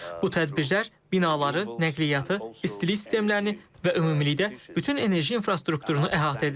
Bu tədbirlər binaları, nəqliyyatı, istilik sistemlərini və ümumilikdə bütün enerji infrastrukturunu əhatə edir.